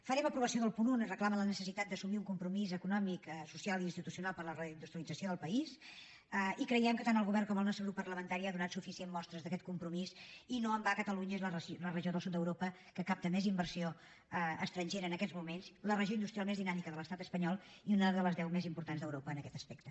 farem aprovació del punt un on es reclama la necessitat d’assumir un compromís econòmic social i institucional per a la reindustrialització del país i creiem que tant el govern com el nostre grup parlamentari ha donat suficient mostres d’aquest compromís i no en va catalunya és la regió del sud d’europa que capta més inversió estrangera en aquests moments la regió industrial més dinàmica de l’estat espanyol i una de les deu més importants d’europa en aquest aspecte